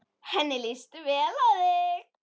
Henni líst vel á þig.